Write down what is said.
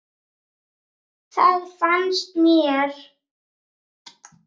Hvað fannst mér?